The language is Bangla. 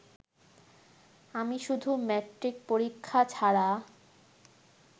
আমি শুধু মেট্রিক পরীক্ষা ছাড়া